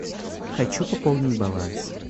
хочу пополнить баланс